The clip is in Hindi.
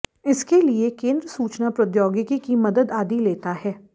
इसके लिए केंद्र सूचना प्रोद्यौगिकी की मदद आदि लेता है